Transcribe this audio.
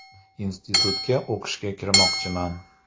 Institutga o‘qishga kirmoqchiman.